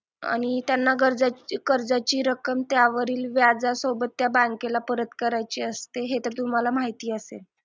आणि त्यांना कर्जाची रक्कम त्यावरील व्याजासोबत त्या bank ला परत करायचे असते हे तर तुम्हाला माहिती असेल